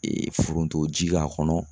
foronto ji k'a kɔnɔ